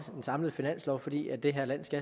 den samlede finanslov fordi det her land